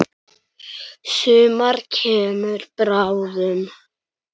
Sumar kemur bráðum.